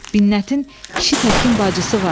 Binnətin kişi təkin bacısı var.